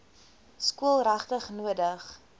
skool regtig nodig